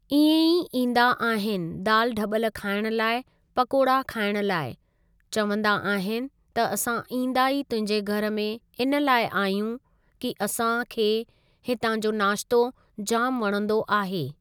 इएं ई ईंदा आहिनि दाल डॿल खाइण लाइ पकोड़ा खाइण लाइ, चवंदा आहिनि त असां ईंदा ई तुंहिंजे घर में इन लाइ आहियूं कि असां खे हितां जो नाश्तो जामु वणंदो आहे।